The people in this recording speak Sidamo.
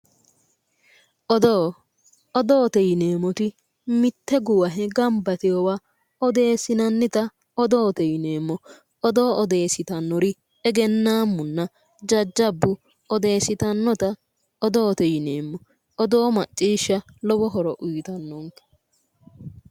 Odoo, odoote yineemmoti mitte guwahe gamba yiteyowa odoossineemmota odoote yineemmo. Odoo odeessitannori egennaammunna odeessitannota odoote yineemmo. Odoo macciishsha lowo horo uyitanno.